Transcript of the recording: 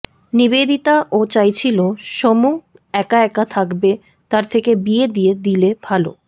নিবেদিতা ও চাইছিলো সোমু একা একা থাকবে তার থেকে বিয়ে দিয়ে দিলে ভালো